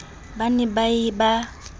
ba ne na ye ba